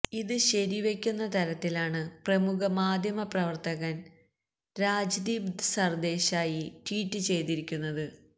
ഇത് ശരിവെക്കുന്ന തരത്തിലാണ് പ്രമുഖ മാധ്യമ പ്രവർത്തകൻ രാജ്ദീപ് സർദേശായി ട്വീറ്റ് ചെയ്തിരിക്കുന്നത്